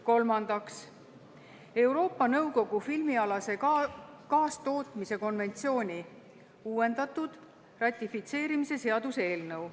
Kolmandaks, Euroopa Nõukogu filmialase kaastootmise konventsiooni ratifitseerimise seaduse eelnõu.